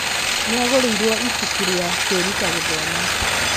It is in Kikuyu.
nĩagũrĩirwo ibuku rĩa kwĩruta gũthoma.